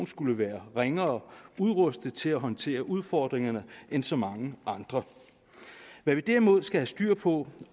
skulle være ringere udrustet til at håndtere udfordringerne end så mange andre hvad vi derimod skal have styr på